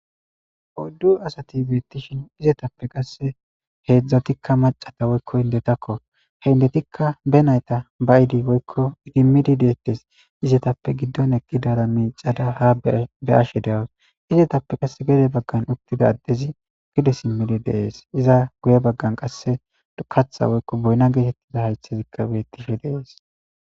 oyddu asati betishin izetappe qase hedzdzatikka macata woykko indetakko he indetikka be nayta ba'idi woykko idimidi detes, izetappe giddon eqidara micada ha be'ashe de'awus, izetappe qasse gede baggan uttida addezi gede simmidi de'es iza guye baggan qase katha woykko boyna getetiza haythezikka betishe de'es.